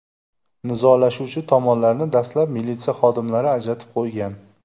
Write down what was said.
Nizolashuvchi tomonlarni dastlab militsiya xodimlari ajratib qo‘ygan.